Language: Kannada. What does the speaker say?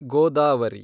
ಗೋದಾವರಿ